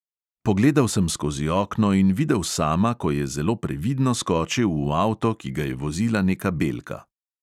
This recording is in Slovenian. Pogledal sem skozi okno in videl sama, ko je zelo previdno skočil v avto, ki ga je vozila neka belka.